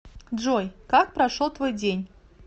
джой как прошел твой день